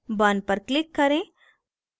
burn पर click करें